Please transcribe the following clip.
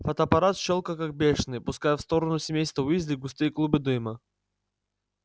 фотоаппарат щёлкал как бешеный пуская в сторону семейства уизли густые клубы дыма